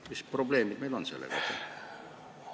Mis probleemid meil sellega on?